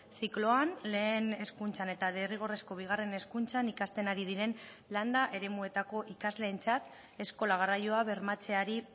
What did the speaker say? zikloan lehen hezkuntzan eta derrigorrezko bigarren hezkuntzan ikasten ari diren landa eremuetako ikasleentzat eskola garraioa bermatzeari